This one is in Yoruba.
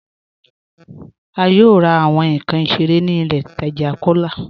A yóò rà awọn nkàn ìṣẹ̀rẹ̀ ní ilẹ̀ ìtaja Kọlá